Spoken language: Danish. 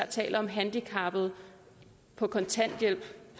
taler om handicappede på kontanthjælp